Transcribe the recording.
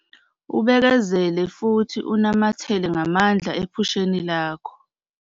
Ubekezele futhi unamathele ngamandla ephusheni lakho.